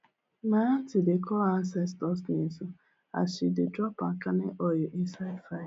my aunty dey call ancestor names as she dey drop palm kernel oil inside fire